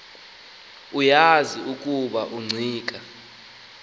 uyazi ukuba ungqika